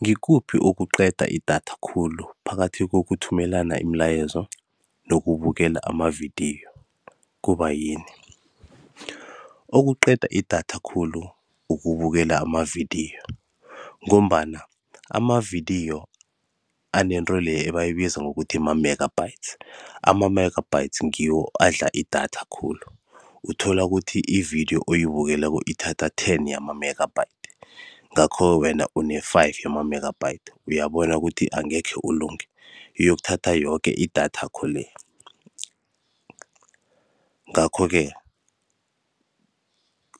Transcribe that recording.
Ngikuphi okuqeda idatha khulu phakathi kokuthumelana imilayezo nokubukela amavidiyo? Kubayini? Okuqeda idatha khulu kubukela amavidiyo ngombana amavidiyo anento leya ebizwa bona ma-megabytes. Ama-megabytes ngiwo adla idatha khulu. Uthola ukuthi ividiyo oyibukeleko ithatha ten yama-megabytes, ngakho-ke wena una-five yama-megabytes uyabona bona angekhe ulunge, iyokuthatha yoke idatha yakho-le. Ngakho-ke,